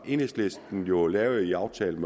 enhedslisten jo og lavede i aftalen